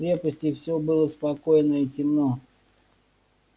в крепости всё было спокойно и темно